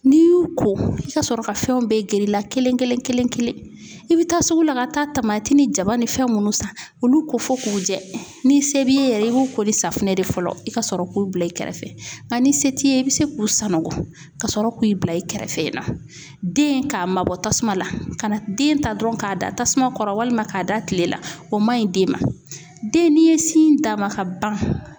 N'i y'u ko i ka sɔrɔ ka fɛnw bɛɛ gɛrɛ i la kelen kelen kelen kelen. I bi taa sugu la ka taa tamati ni jaba ni fɛn munnu san , olu ko fo k'u jɛ ni se b'i ye yɛrɛ i b'u ko ni safinɛ de fɔlɔ, i ka sɔrɔ k'u bila i kɛrɛfɛ .Nga ni se t'i ye i be se k'u sananko ka sɔrɔ k'u bila i kɛrɛfɛ yen nɔ , den ka ma bɔ tasuma la ka na den ta dɔrɔn ka da tasuma kɔrɔ walima ka da kile la, o man ɲi den ma. Den n'i ye sin d'a ma ka ban